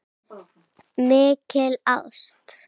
Mikil ást.